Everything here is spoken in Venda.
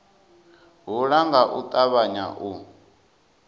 hula nga u ṱavhanya u